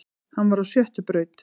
Hann var á sjöttu braut